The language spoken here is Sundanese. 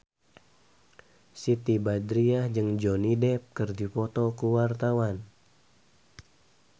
Siti Badriah jeung Johnny Depp keur dipoto ku wartawan